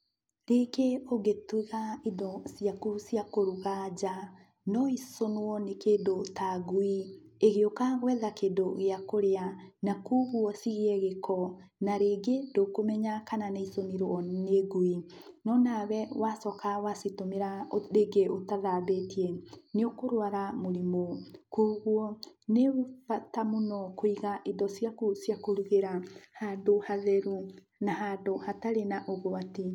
Rĩngĩ ũngĩtiga indo ciaku cia kuruga nja noicunwo nĩ kindũ ta ngũi igĩuka gwetha kĩndũ gĩa kũrĩa na koguo cigĩe gĩko na rĩngĩ ndũkũmenyaga kana nĩicũnirwo nĩ ngũi no nawe wacoka wacitũmĩra rĩngĩ ũtathambĩtie nĩũkũrwara mũrimũ. Kogũo nĩbata mũno kũiga indo ciaku cia kũrugĩra handũ hatherũ na handũ hatarĩ na ũgwati.